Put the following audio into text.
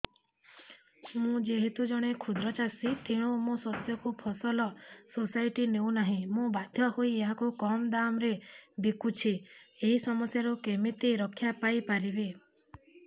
ମୁଁ ଯେହେତୁ ଜଣେ କ୍ଷୁଦ୍ର ଚାଷୀ ତେଣୁ ମୋ ଶସ୍ୟକୁ ଫସଲ ସୋସାଇଟି ନେଉ ନାହିଁ ମୁ ବାଧ୍ୟ ହୋଇ ଏହାକୁ କମ୍ ଦାମ୍ ରେ ବିକୁଛି ଏହି ସମସ୍ୟାରୁ କେମିତି ରକ୍ଷାପାଇ ପାରିବି